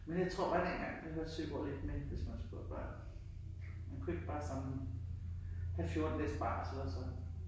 Men jeg tror bare dengang der hørte Søborg lidt med, hvis man skulle have børn. Man kunne ikke bare sådan have 14 dages barsel og så